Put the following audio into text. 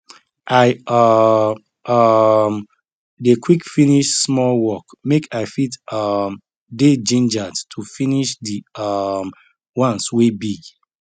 i um um dey quick finish small work make i fit um dey gingered to finish di um ones wey big